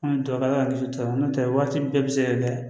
An bɛ dugawu kɛ ala k'an kisi tubabu n'o tɛ waati bɛɛ bɛ se ka kɛ